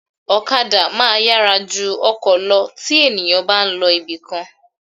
Ọ̀kadà máa yára ju ọkọ̀ lọ tí ènìyàn bá ń lọ ibìkan